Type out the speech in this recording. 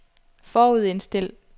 forudindstil